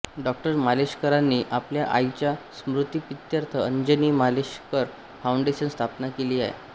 डॉ माशेलकरांनी आपल्या आईच्या स्मृतिप्रीत्यर्थ अंजनी माशेलकर फाऊंडेशन स्थापन केले आहे